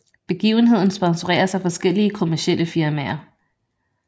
Begivenheden sponsoreres af forskellige kommercielle firmaer